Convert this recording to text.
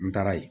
N taara yen